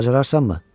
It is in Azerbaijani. Bacararsanmı?